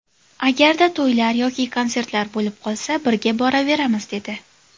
Agarda to‘ylar yoki konsertlar bo‘lib qolsa birga boraveramiz’, dedi.